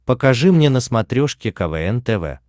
покажи мне на смотрешке квн тв